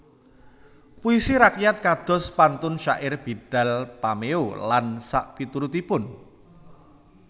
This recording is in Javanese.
Puisi rakyat kados pantun syair bidal pameo lan sakpiturutipun